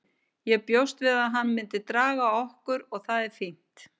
Ég bjóst við að hann myndi draga okkur og það er fínt.